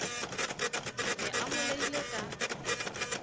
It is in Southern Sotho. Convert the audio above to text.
ne a mo laile ka